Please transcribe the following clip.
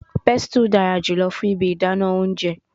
Pestle dara julọ fun ibi idana ounjẹ